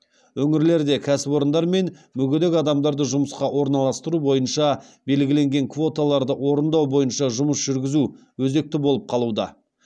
өңірлерде кәсіпорындар мен мүгедек адамдарды жұмысқа орналастыру бойынша белгіленген квоталарды орындау бойынша жұмыс жүргізу өзекті болып қалуда